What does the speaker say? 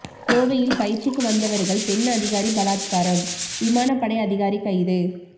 கோவையில் பயிற்சிக்கு வந்தவர்கள் பெண் அதிகாரி பலாத்காரம் விமான படை அதிகாரி கைது